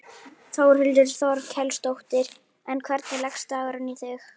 Þórhildur Þorkelsdóttir: En hvernig leggst dagurinn í þig?